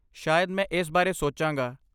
ਸ਼ਾਇਦ ਮੈਂ ਇਸ ਬਾਰੇ ਸੋਚਾਂਗਾ।